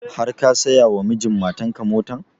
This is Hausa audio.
Har ka saya wa mijin matan ka motan?